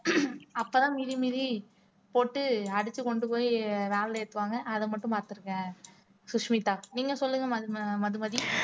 அப்பதான் மிதி மிதி போட்டு அடிச்சு கொண்டு போய் van ல ஏத்துவாங்க அதை மட்டும் பார்த்திருக்கேன் சுஷ்மிதா நீங்க சொல்லுங்க ஆஹ் மதும மதுமதி